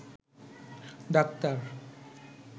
doctor